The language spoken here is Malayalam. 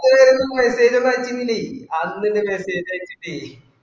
അപ്പൊ വേറേന്തെങ്ങും message ഒന്നും അയക്കുന്നിലെ ആദില അല്ലെ message അയച്ചിറ്റ്